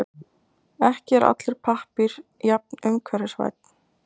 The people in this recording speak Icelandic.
Ekki er allur pappír jafn umhverfisvænn.